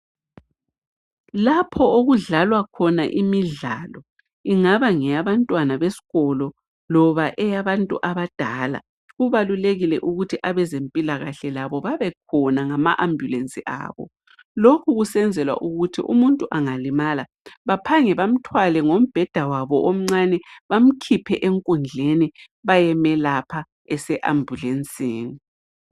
Lapho okudlalwa khona imidlalo, ingaba ngeyabantwana besikolo loba abantu abadala. Kubalulekile ukuthi abezempilakahle labo babekhona ngamaambulensi abo lokhu kusenzelwa ukuthi umuntu angalimala baphange bamthwale ngombheda wabo omncane bamkhiphe enkundleni bayemelapha eseambulensini.